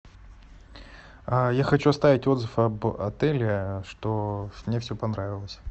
я хочу оставить отзыв об отеле что мне все понравилось